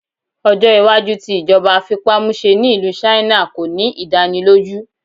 Ọjọ iwaju ti ijọba afipamuse ni Ilu China ko ni idaniloju